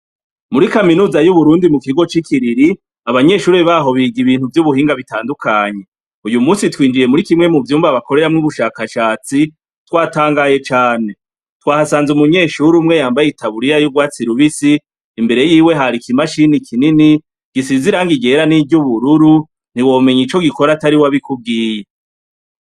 Muri kaminuza y'u Burundi mu kigo ci Kiriri, abanyeshure baho biga ibintu vy'ubuhinga bitandukanye, uyu munsi twinjiye muri kimwe mu vyumba bakoreramwo ubushakashatsi twatangaye cane, twahasanze umunyeshure umwe yambaye itaburira y'urwatsira rubisi, imbere yiwe hari ikimashini kinini gisize irangi ryera n'iryubururu ntiwomenye ico gikora atariwe abikubwiye.